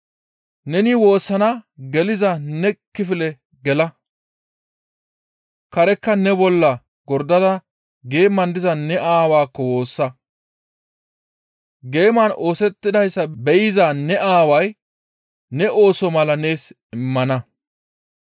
Neni woossana geliza ne kifile gela; karekka ne bolla gordada geeman diza ne Aawaakko woossa. Geeman oosettidayssa be7iza ne Aaway ne ooso mala nees immana.